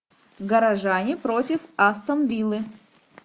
горожане против астон виллы